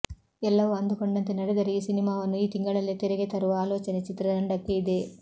ಎಲ್ಲವೂ ಅಂದುಕೊಂಡಂತೆ ನಡೆದರೆ ಈ ಸಿನಿಮಾವನ್ನು ಈ ತಿಂಗಳಲ್ಲೇ ತೆರೆಗೆ ತರುವ ಆಲೋಚನೆ ಚಿತ್ರತಂಡಕ್ಕೆ ಇದೆ